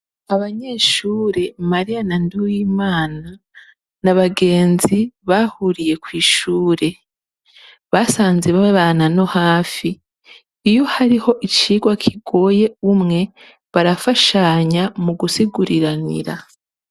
Abanyeshure mayira na nduwimana nabagenzi bahuriye kwishure basanze babana no hafi basanze hari kimwe kigoye umwe barafashanya mugusiguriranira